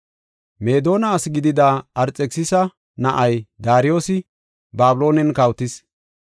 Meedona asi gidida Arxekisisa na7ay, Daariyosi Babiloonen kawotis.